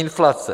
Inflace.